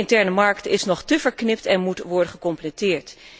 De interne markt is nog te verknipt en moet worden gecompleteerd.